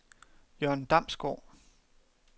Jørn Damsgaard